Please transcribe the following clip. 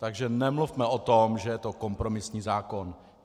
Takže nemluvme o tom, že je to kompromisní zákon.